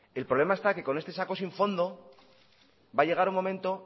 el problema está que con este saco sin fondo va a llegar un momento